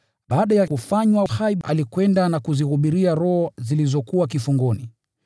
Baada ya kufanywa hai, alikwenda na kuzihubiria roho zilizokuwa kifungoni: